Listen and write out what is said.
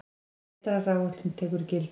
Vetraráætlun tekur gildi